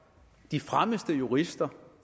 de fremmeste jurister